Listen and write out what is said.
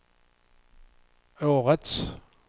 årets